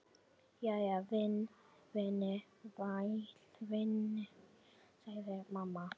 Jæja, væni minn, sagði mamma.